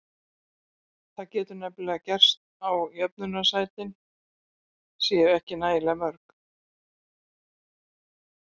Það getur nefnilega gerst að jöfnunarsætin séu ekki nægilega mörg.